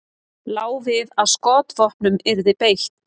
Lá við að skotvopnum yrði beitt